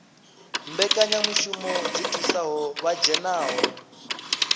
mbekanyamushumo dzi thusaho vha dzhenaho